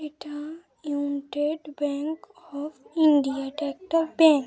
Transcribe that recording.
এটা United Bank of India. এটা একটা ব্যাঙ্ক .